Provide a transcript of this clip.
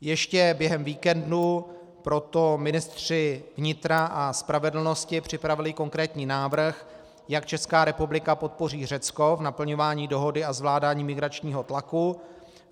Ještě během víkendu proto ministři vnitra a spravedlnosti připravili konkrétní návrh, jak Česká republika podpoří Řecko v naplňování dohody a zvládání migračního tlaku.